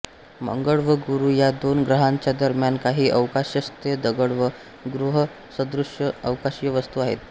मंगळ व गुरू या दोन ग्रहांच्या दरम्यान काही अवकाशस्थ दगड व ग्रहसदृश अवकाशीय वस्तू आहेत